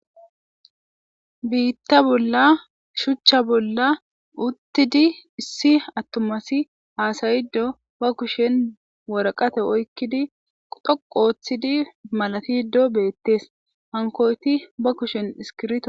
Bita bola shucha bola utidi issi atumati hasayide ba kusheni woraqata oykidi dhoqu othidi malatide betes hankoti ba kusheni iskirito oyqidosona.